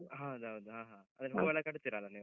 ಹೌದೌದು ಆಹಾ ಹಾಗಾದ್ರೆ ಹೂ ಎಲ್ಲ ಕಟ್ತೀರಲ್ಲ ನೀವು?